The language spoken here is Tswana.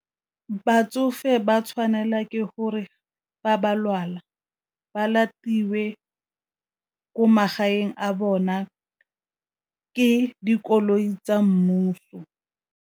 Batsofe ba tshwanela ke gore fa ba lwala ba latilwe ko magaeng a bona ke dikoloi tsa mmuso.